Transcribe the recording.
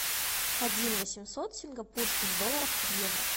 один восемьсот сингапурских долларов в евро